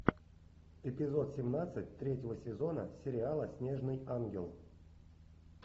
эпизод семнадцать третьего сезона сериала снежный ангел